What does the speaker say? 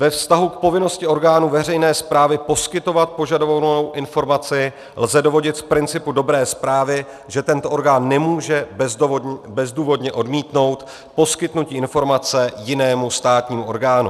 Ve vztahu k povinnosti orgánů veřejné správy poskytovat požadovanou informaci lze dovodit z principu dobré správy, že ten orgán nemůže bezdůvodně odmítnout poskytnutí informace jinému státnímu orgánu.